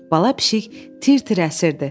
Bala pişik tir-tir əsirdi.